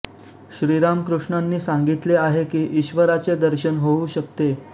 श्रीरामकृृष्णांंनी सांंगितले आहे की ईश्वराचे दर्शन होऊ शकते